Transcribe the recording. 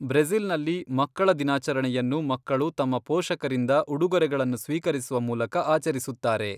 ಬ್ರೆಜಿ಼ಲ್ನಲ್ಲಿ, ಮಕ್ಕಳ ದಿನಾಚರಣೆಯನ್ನು ಮಕ್ಕಳು ತಮ್ಮ ಪೋಷಕರಿಂದ ಉಡುಗೊರೆಗಳನ್ನು ಸ್ವೀಕರಿಸುವ ಮೂಲಕ ಆಚರಿಸುತ್ತಾರೆ.